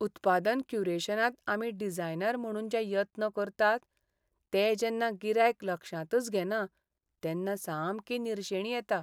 उत्पादन क्युरेशनांत आमी डिझायनर म्हणून जे यत्न करतात ते जेन्ना गिरायक लक्षांतच घेना तेन्ना सामकी निरशेणी येता.